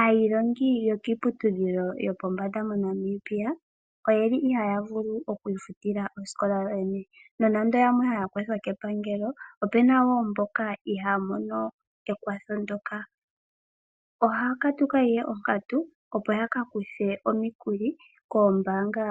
Aayilongi yokiiputudhilo yo pombanda moNamibia, oyeli ihaa vulu okwiifutilla oosikola yoyene, nonando yamwe haa kwathwa kepangelo, opuna wo mboka ihaa mono ekwatho ndjoja. Ohaa katuka ihe onkatu opo ya ka kuthe omikuli koombaanga